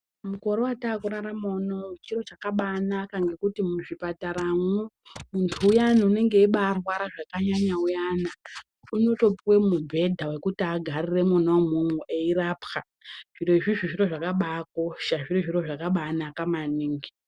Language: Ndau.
Mukore wataku rarama unowu chiro chakabai naka nekuti mu zvipatara mwo muntu uyani unenge eibai rwara zvaka nyanya uyana unoto puwe mubhedha wekuti agarire imwomwo eyi rapwa zviro izvozvo zviro zvakabai kosha zviri zviro zvakabai naka maningi.